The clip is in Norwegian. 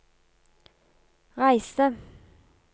reise